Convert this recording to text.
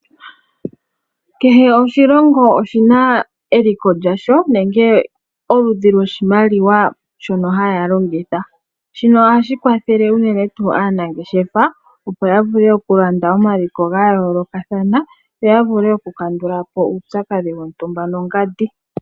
Kehe oshilongo oshina eliko lyasho nenge oludhi lwoshimaliwa shono haya longitha. Shino ohashi kwathele unene tuu aanangeshefa opo ya vule okulanda omaliko ga yoolokathana, yo ya vule okukandula po uupyakadhi wontumba nongandi.